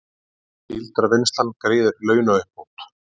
Síldarvinnslan greiðir launauppbót